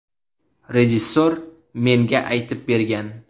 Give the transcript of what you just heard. Rejissor menga aytib bergan.